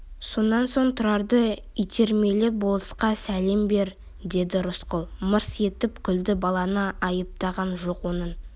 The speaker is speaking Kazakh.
сонан соң тұрарды итермелеп болысқа сәлем бер деді рысқұл мырс етіп күлді баланы айыптаған жоқ оның